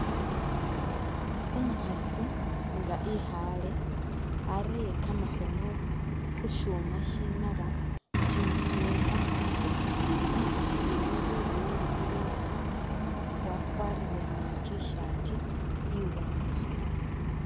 Umukhaasi nga ikhaaye, arere kamakhono khu syuuma sinaba kimi sweater. Umukhasi uyu wiboyile i'leesu, wakwarire ni I'T-shirt iwaanga.